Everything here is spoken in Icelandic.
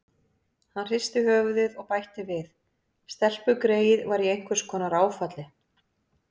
Hann hristi höfuðið og bætti við: Stelpugreyið var í einhvers konar áfalli.